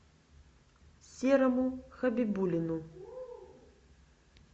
серому хабибуллину